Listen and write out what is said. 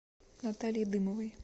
наталье дымовой